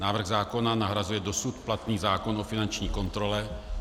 Návrh zákona nahrazuje dosud platný zákon o finanční kontrole.